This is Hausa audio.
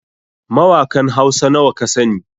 Mawakan Hausa nawa kasani?